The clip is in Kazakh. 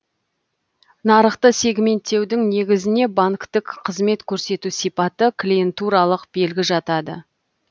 нарықты сегменттеудің негізіне банктік қызмет көрсету сипаты клиентуралық белгі жатады